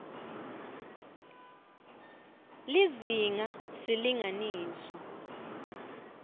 lizinga s silinganiso